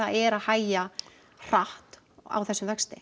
er að hægja hratt á þessum vexti